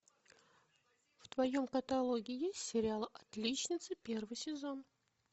в твоем каталоге есть сериал отличницы первый сезон